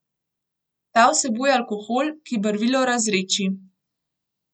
Ta vsebuje alkohol, ki barvilo razredči.